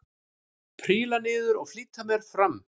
Príla niður og flýti mér fram.